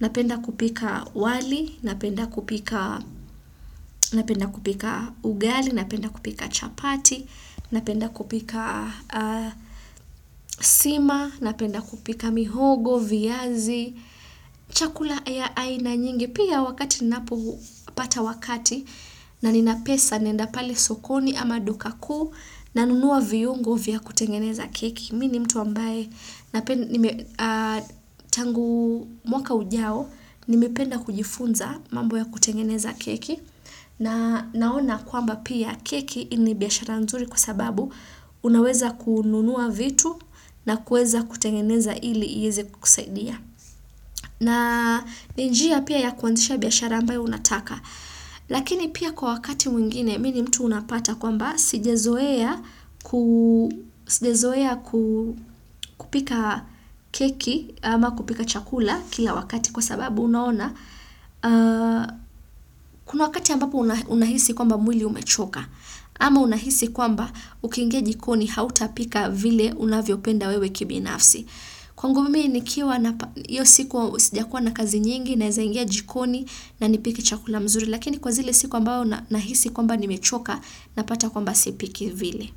Napenda kupika wali, napenda kupika ugali, napenda kupika chapati, napenda kupika sima, napenda kupika mihogo, viazi, chakula ya aina nyingi. Pia wakati ninapopata wakati na ninapesa naenda pale sokoni ama duka kuu nanunua viungo vya kutengeneza keki. Mimi ni mtu ambaye tangu mwaka ujao, ningependa kujifunza mambo ya kutengeneza keki na naona kwamba pia keki ni biashara nzuri kwa sababu unaweza kununua vitu na kuweza kutengeneza ili iweze kusaidia. Na ni njia pia ya kuanzisha biashara ambayo unataka. Lakini pia kwa wakati mwingine mimi ni mtu unapata kwamba sijazoea kupika keki ama kupika chakula kila wakati kwa sababu unaona kuna wakati ambapo unahisi kwamba mwili umechoka. Ama unahisi kwamba ukiingia jikoni hautapika vile unavyopenda wewe kibinafsi. Kwangu mimi nikiwa na hiyo sijakuwa na kazi nyingi naeza ingia jikoni na nipike chakula mzuri lakini kwa zile siku ambayo nahisi kwamba nimechoka napata kwamba sipiki vile.